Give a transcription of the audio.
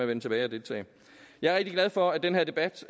vende tilbage og deltage jeg er rigtig glad for at den her debat